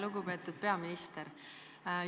Lugupeetud peaminister!